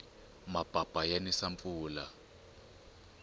mapapa ya nisa mpfula